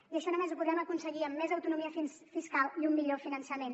i això només ho podrem aconseguir amb més autonomia fiscal i un millor finançament